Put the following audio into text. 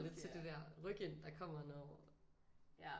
Lidt til det der ryk ind der kommer når